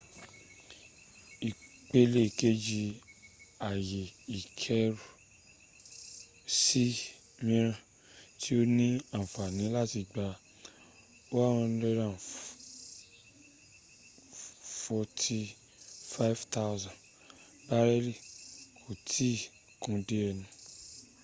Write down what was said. ipele keji aye ikeru si miran ti o ni anfani lati gba 104,500 bareli ko i ti kun de enu